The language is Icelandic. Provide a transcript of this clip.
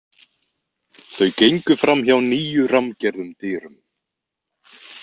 Þau gengu fram hjá níu rammgerðum dyrum.